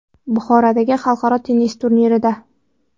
Buxorodagi xalqaro tennis turnirida.